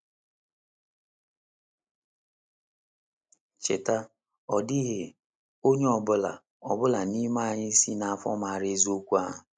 Cheta, ọ dịghị onye ọ bụla ọ bụla n’ime anyị si n’afọ mara eziokwu ahụ.